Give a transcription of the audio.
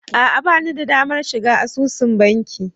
A'a ba ni da damar shiga asusun banki